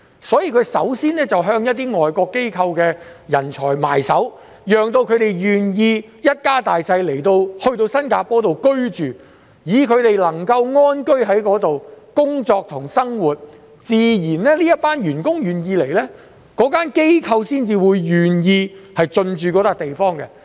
所以，它們首先便向一些外國機構的人才着手，讓他們願意一家大小來到新加坡居住，讓他們能夠在此安居、工作及生活，當這些員工願意來工作，機構自然便會願意進駐這個地方。